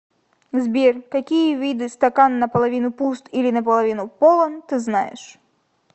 сбер какие виды стакан наполовину пуст или наполовину полон ты знаешь